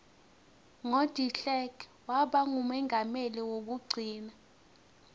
ngo deklerk wabangumongameli kwekugcina